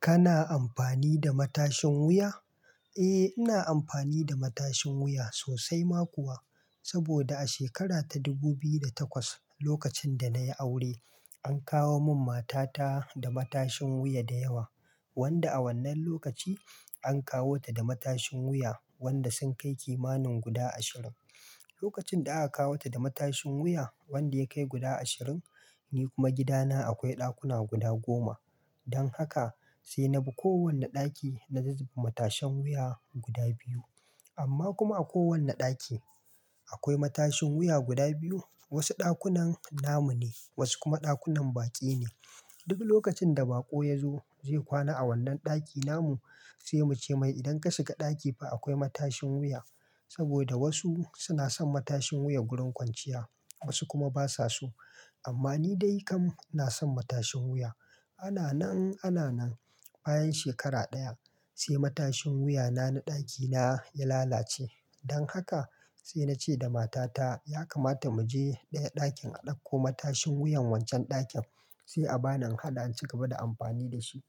Kana amfani da matashin wuya? Eh, ina amfani da matashin wuya sosai ma kuwa. Saboda a shekara ta dubu biyu da takwas, lokacin da na yi aure, an kawo mun matata da matashin wuya da yawa. Wanda a wannan lokaci an kawo ta da matashin wuya wanda sun kai kimanin guda ashirin. Lokacin da aka kawo ta da matashin wuya wanda ya kai guda ashirin, ni kuma gidana akwai ɗakuna guda goma. Don haka sai na bi kowane ɗaki na zuba matashan wuya guda biyu. Amma kuma a kowane ɗaki akwai matashin wuya guda biyu. Wasu ɗakunan namu ne, wasu kuma ɗakunan baƙi ne. Dubi lokacin da baƙo ya zo zai kwana a wannan ɗaki namu, sai mu ce mai idan ka shiga ɗaki fa akwai matashin wuya. Saboda wasu suna son matashin wuya wurin kwanciya, wasu kuma basa so. Amma ni dai kam na son matashin wuya. Ana nan, ana nan, bayan shekara ɗaya sai matashin wuyana na ɗakina ya lalace. Don haka sai na ce da matata ya kamata mu je ɗaya ɗakin a ɗauko matashin wuyan wancan ɗakin sai a bani in haɗa in ci gaba da amfani da shi.